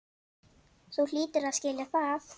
Þú hlýtur að skilja það.